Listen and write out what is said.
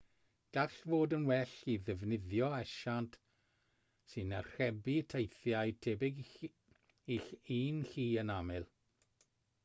gall fod yn well i ddefnyddio asiant sy'n archebu teithiau tebyg i'ch un chi yn aml